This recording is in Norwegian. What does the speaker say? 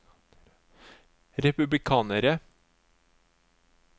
republikanere